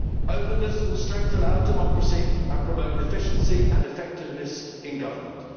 Openness will strengthen our democracy and promote efficiency and effectiveness in Government'.